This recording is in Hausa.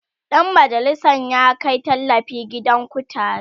Dan majalisan ya Kai tallafi gidan kutare